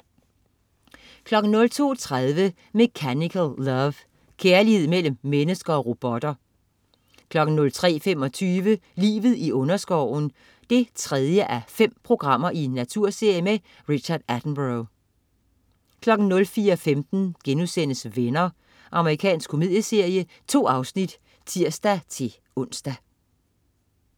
02.30 Mechanical Love. Kærlighed mellem mennesker og robotter 03.25 Livet i underskoven 3:5. Naturserie med Richard Attenborough 04.15 Venner.* Amerikansk komedieserie. 2 afsnit (tirs-ons)